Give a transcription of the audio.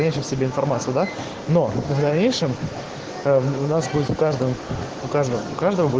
тебе информацию да но в дальнейшем у нас будет в каждом по каждому